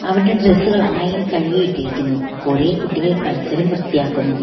അവരുടെ ഡ്രസ്സുകൾ ആയയിൽ കഴുകി ഇട്ടിരിക്കുന്നു കുറെ കുട്ടികൾ പരിസരം വൃത്തിയാക്കുന്നു.